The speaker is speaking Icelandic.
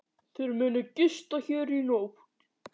Þeir munu gista hér í nótt.